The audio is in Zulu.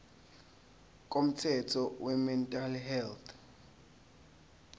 komthetho wemental health